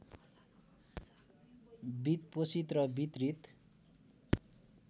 वित्तपोषित र वितरित